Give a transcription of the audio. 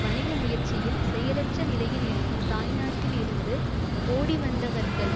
வணிக முயற்சியில் செயலற்ற நிலையில் இருக்கும் தாய்நாட்டில் இருந்து ஓடிவந்தவர்கள்